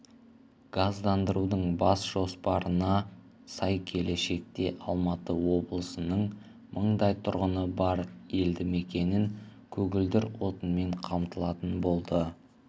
газдандырудың бас жоспарына сай келешекте алматы облысының мыңдай тұрғыны бар елді мекенін көгілдір отынмен қамтылатын болады